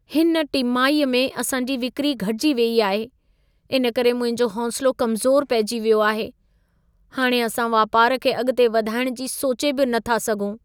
हिन टिमाहीअ में असांजी विक्री घटिजी वेई आहे। इन करे मुंहिंजो हौसिलो कमज़ोर पइजी वियो आहे। हाणे असां वापारु खे अॻिते वधाइणु जी सोचे बि नथा सघूं।